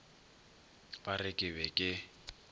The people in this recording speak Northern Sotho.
ba re ke be ke